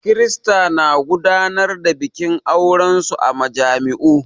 Kirista na gudanar da bikin aurensu a majami'u.